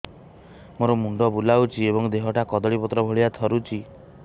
ମୋର ମୁଣ୍ଡ ବୁଲାଉଛି ଏବଂ ଦେହଟା କଦଳୀପତ୍ର ଭଳିଆ ଥରୁଛି